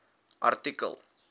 artikel